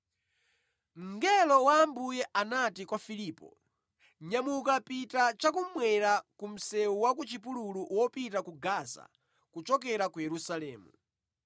Mngelo wa Ambuye anati kwa Filipo, “Nyamuka pita chakummwera, ku msewu wa ku chipululu wopita ku Gaza kuchokera ku Yerusalemu.”